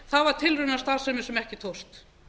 var tilraunastarfsemi ekki tókst